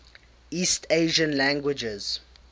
east asian languages